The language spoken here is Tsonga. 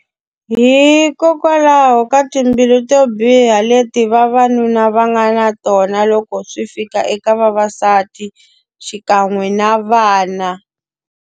Hikokwalaho ka timbilu to biha leti vavanuna va nga na tona loko swi fika eka vavasati, xikan'we na vana.